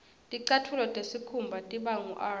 ticatfulo tesikhumba tiba ngur